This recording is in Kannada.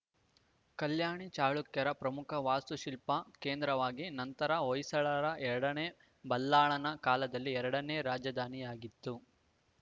ಕಲ್ಯಾಣ ಚಾಲುಕ್ಯರ ಪ್ರಮುಖ ವಾಸ್ತುಶಿಲ್ಪ ಕೇಂದ್ರವಾಗಿ ನಂತರ ಹೊಯ್ಸಳರ ಎರಡನೇ ಬಲ್ಲಾಳನ ಕಾಲದಲ್ಲಿ ಎರಡನೇ ರಾಜಧಾನಿಯಾಗಿತ್ತು